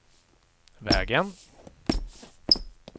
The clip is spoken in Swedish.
vägen